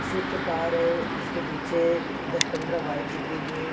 Swift car है उसके पीछे दस पंद्रह बाइक दिख रही हैं।